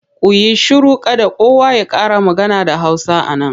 Ku yi shiru! Kada kowa ya ƙara magana da Hausa a nan.